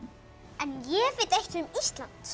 en ég veit eitt um Ísland